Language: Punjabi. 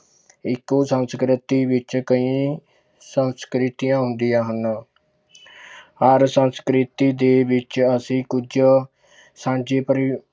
ਇੱਕੋ ਸੰਸਕ੍ਰਿਤੀ ਵਿੱਚ ਕਈ ਸੰਸਕ੍ਰਿਤੀਆਂ ਹੁੰਦੀਆਂ ਹਨ ਹਰ ਸੰਸਕ੍ਰਿਤੀ ਦੇ ਵਿੱਚ ਅਸੀਂ ਕੁੱਝ ਸਾਂਝੇ ਪਰਿ~